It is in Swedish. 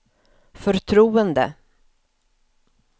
förtroende